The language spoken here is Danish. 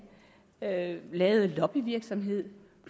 lavede lavede lobbyvirksomhed